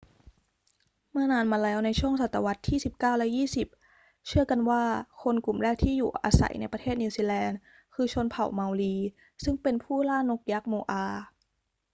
เมื่อนานมาแล้วในช่วงศตวรรษที่สิบเก้าและยี่สิบ เชื่อกันว่าคนกลุ่มแรกที่อยู่อาศัยในประเทศนิวซีแลนด์คือชนเผ่าเมารีซึ่งเป็นผู้ล่านกยักษ์โมอา